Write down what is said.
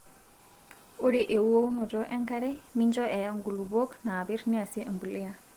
Ore euonoto enkare mincho eya ingulupuok naapir niasie embulia